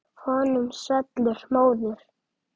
Honum svellur móður.